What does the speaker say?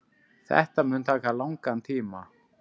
Þetta mun taka langan tíma.